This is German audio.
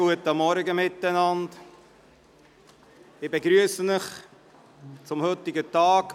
Guten Morgen miteinander, ich begrüsse Sie zum heutigen Tag.